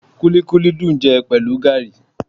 Kúlíkúlí dùn jẹ pẹ̀lú gaàrí